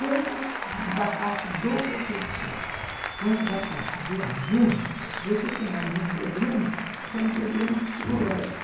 Tanto da parte do professor quanto da parte do aluno, você tem aí um problema que é um problema psicológico.